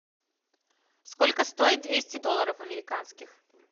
сколько стоит двести долларов американских